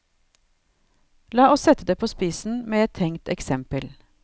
La oss sette det på spissen med et tenkt eksempel.